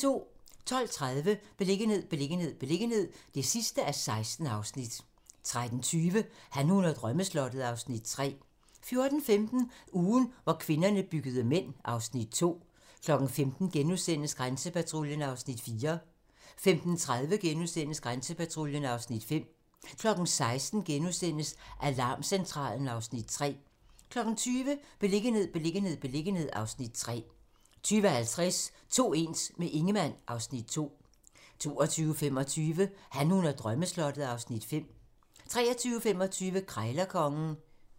12:30: Beliggenhed, beliggenhed, beliggenhed (16:16) 13:20: Han, hun og drømmeslottet (Afs. 3) 14:15: Ugen, hvor kvinderne byttede mænd (Afs. 5) 15:00: Grænsepatruljen (Afs. 4)* 15:30: Grænsepatruljen (Afs. 5)* 16:00: Alarmcentralen (Afs. 3)* 20:00: Beliggenhed, beliggenhed, beliggenhed (Afs. 3) 20:50: To ens - med Ingemann (Afs. 2) 22:25: Han, hun og drømmeslottet (Afs. 5) 23:25: Krejlerkongen